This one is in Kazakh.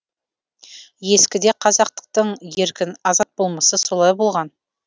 ескіде қазақтықтың еркін азат болмысы солай болған